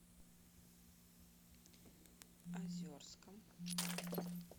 озерском